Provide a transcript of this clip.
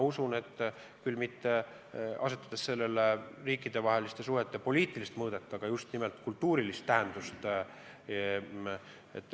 Sellele ei saa küll anda riikidevaheliste suhete poliitilist mõõdet, aga saab anda just nimelt sügavamat kultuurilist tähendust.